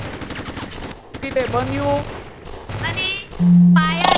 શી રીતે બન્યું અને પાયાનો